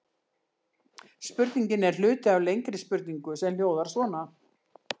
Spurningin er hluti af lengri spurningu sem hljóðar svona: